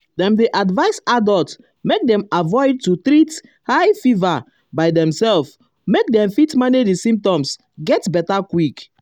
dem dey advise adults make dem avoid um to treat high fever um by demselves make dem fit manage di symptoms get beta quick.